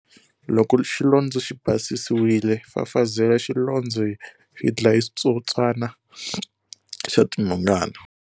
Loko xilondzo xi basisiwile, fafazela xilondzo hi xidlaya switsotswana xa tinhongana.